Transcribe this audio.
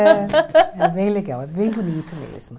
É é bem legal, é bem bonito mesmo.